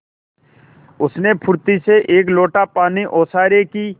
उसने फुर्ती से एक लोटा पानी ओसारे की